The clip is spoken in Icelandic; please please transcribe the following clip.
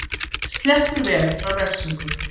Sleppur vel frá refsingu